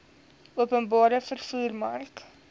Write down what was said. openbare vervoer mark